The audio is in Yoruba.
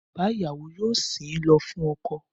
Bàbá ìyàwó yóò sìn ín lọ fún ọkọ